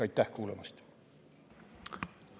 Aitäh kuulamast!